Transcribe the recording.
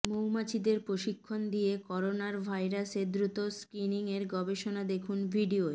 মৌমাছিদের প্রশিক্ষণ দিয়ে করোনার ভাইরাসের দ্রুত স্ক্রিনিংয়ের গবেষণা দেখুন ভিডিও